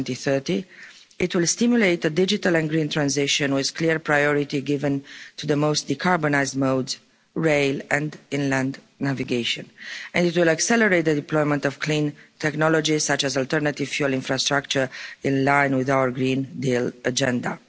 by 2030. It will stimulate the Digital and Green Transition with clear priority given to the most decarbonised modes, rail and inland navigation, and it will accelerate the deployment of clean technologies such as alternative fuel infrastructure, in line with our Green Deal agenda.